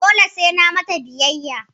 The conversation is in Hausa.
Dole sai na mata biyayya?